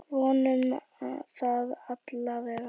Vonum það allavega!